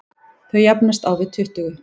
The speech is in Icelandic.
Þau jafnast á við tuttugu.